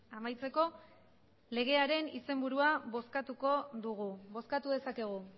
amaitzeko legearen izenburua bozkatuko dugu bozkatu dezakegu